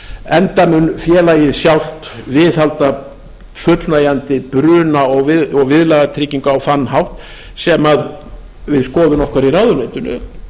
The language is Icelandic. enda mun félagið sjálft viðhalda fullnægjandi bruna og viðlagatryggingu á þann hátt sem er skoðun okkar í ráðuneytinu